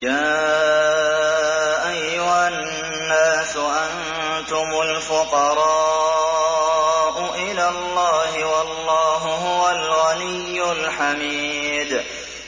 ۞ يَا أَيُّهَا النَّاسُ أَنتُمُ الْفُقَرَاءُ إِلَى اللَّهِ ۖ وَاللَّهُ هُوَ الْغَنِيُّ الْحَمِيدُ